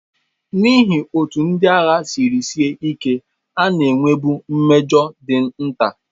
N'ihi otú ndị agha siri sie ike, a na-enwebu mmejọ dị nta.